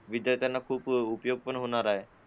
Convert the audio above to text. विद्यार्थ्यांना खूप उपयोग पण होणार आहे